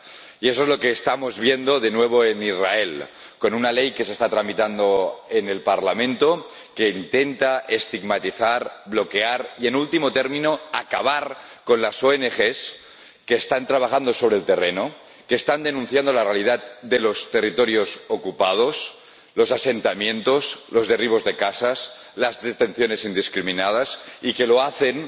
Y eso es lo que estamos viendo de nuevo en Israel, con una ley que se está tramitando en el Parlamento que intenta estigmatizar, bloquear y, en último término, acabar con las ONG que están trabajando sobre el terreno, que están denunciando la realidad de los territorios ocupados, los asentamientos, los derribos de casas, las detenciones indiscriminadas, y que lo hacen